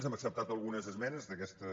hem ac·ceptat algunes esmenes d’aquestes